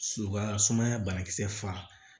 U ka sumaya banakisɛ faga